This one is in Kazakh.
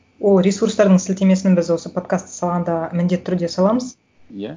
ол ресурстардың сілтемесін біз осы подкастты салғанда міндетті түрде саламыз иә